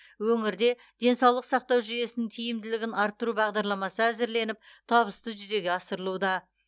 өңірде денсаулық сақтау жүйесінің тиімділігін арттыру бағдарламасы әзірленіп табысты жүзеге асырылуда